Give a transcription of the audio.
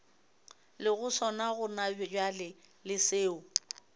lego sona gonabjale le seo